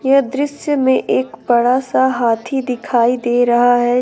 यह दृश्य में एक बड़ा सा हाथी दिखाई दे रहा है।